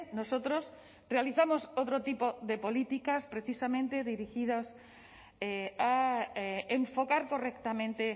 nosotros realizamos otro tipo de políticas precisamente dirigidas a enfocar correctamente